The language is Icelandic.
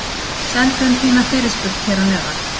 Sendu inn þína fyrirspurn hér að neðan!